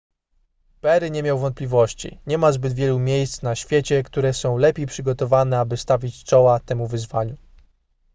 perry nie miał wątpliwości nie ma zbyt wielu miejsc na świecie które są lepiej przygotowane aby stawić czoła temu wyzwaniu